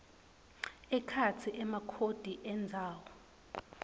ekhatsi emakhodi endzawo